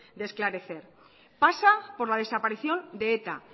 de esclarecer pasa por la desaparición de eta